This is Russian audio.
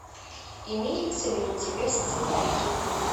имеется ли у тебя сценарий